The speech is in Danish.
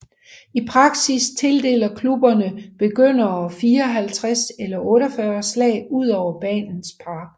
I praksis tildeler klubberne begyndere 54 eller 48 slag ud over banens par